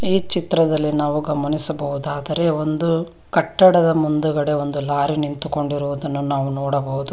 ಈ ಚಿತ್ರದಲ್ಲಿ ನಾವು ಗಮನಿಸಬಹುದಾದರೆ ಒಂದು ಕಟ್ಟಡದ ಮುಂದುಗಡೆ ಒಂದು ಲಾರಿ ನಿಂತುಕೊಂಡಿರುವುದನ್ನು ನಾವು ನೋಡಬಹುದು.